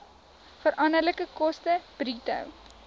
veranderlike koste bruto